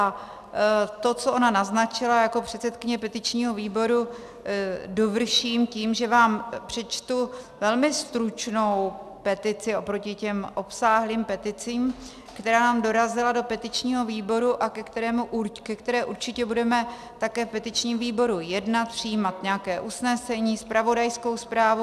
A to, co ona naznačila, jako předsedkyně petičního výboru dovrším tím, že vám přečtu velmi stručnou petici oproti těm obsáhlým peticím, která nám dorazila do petičního výboru a ke které určitě budeme také v petičním výboru jednat, přijímat nějaké usnesení, zpravodajskou zprávu.